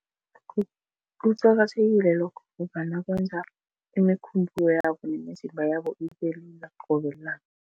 Kuqakathekile lokho ngombana kwenza imikhumbulo yabo nemizimba yabo ibelula qobe langa.